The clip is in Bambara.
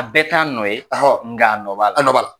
Bɛ t'a nɔ ye, , nga nɔ b'a la. A nɔ b'a la.